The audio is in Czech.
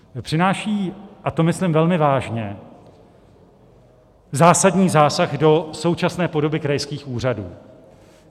Přináší - a to myslím velmi vážně - zásadní zásah do současné podoby krajských úřadů.